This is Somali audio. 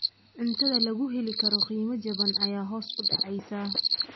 Cuntada lagu heli karo qiimo jaban ayaa hoos u dhacaysa.